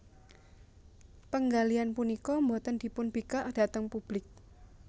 Penggalian punika boten dipunbikak dhateng publik